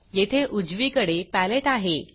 येथे उजवीकडे paletteपॅलेट आहे